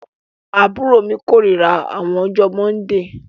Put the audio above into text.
Àbúrọ̀ mi kọ̀rírà àwọn ọjọ mọ́ndíì